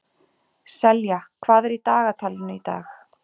Selja, hvað er í dagatalinu í dag?